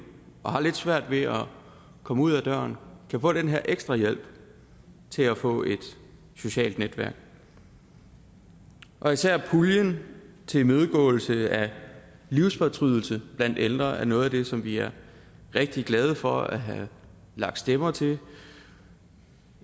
og har lidt svært ved at komme ud ad døren kan få den her ekstra hjælp til at få et socialt netværk og især puljen til imødegåelse af livsfortrydelse blandt ældre er noget af det som vi er rigtig glade for at have lagt stemmer til